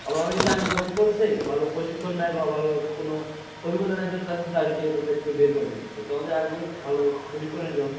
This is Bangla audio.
আবার অনেকে চাকরিতে join করেছে ভালো প্রশিক্ষণ নেই বা ভালো কোনো অভিজ্ঞতা নেই তারজন্য চাকরি থেকে তাদেরকে বের করে দিচ্ছে। তো আমাদের আগে ভালো প্রশিক্ষণের ব্যবস্থা করতে।